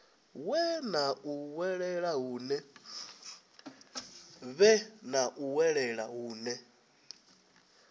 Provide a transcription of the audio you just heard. vhe na u vhuelwa hune